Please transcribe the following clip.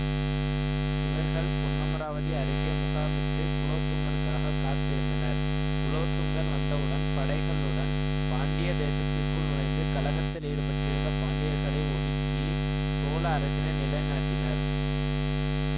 இவர்கள் பொன்னமராவதி அருகே முகாமிட்டு குலோதுங்கனுக்காக காத்திருந்தனர் குலோத்துங்கன் வந்தவுடன் படைகளுடன் பாண்டிய தேசத்திற்குள் நுழைந்து கழகத்தில் ஈடுப்பட்டிருந்த பாண்டியர்களை ஒடுக்கி சோழ அரசினை நிலை நாட்டினர்